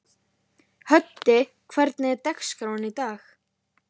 Höddi, hvernig er dagskráin í dag?